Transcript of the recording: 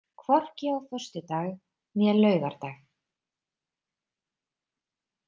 Hvorki á föstudag né laugardag.